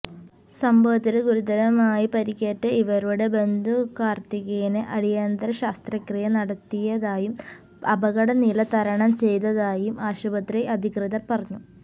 സംഭവത്തില് ഗുരുതരമായി പരിക്കേറ്റ ഇവരുടെ ബന്ധു കാര്ത്തിക്കിന് അടിയന്തര ശസ്ത്രക്രിയ നടത്തിയതായും അപകടനില തരണം ചെയ്തതായും ആശുപത്രി അധികൃതര് പറഞ്ഞു